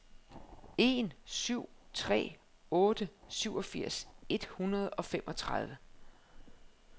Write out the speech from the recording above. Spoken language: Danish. en syv tre otte syvogfirs et hundrede og femogtredive